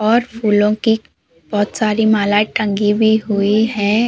और फूलों की बहोत सारी मालाएं टंगी भी हुई हैं।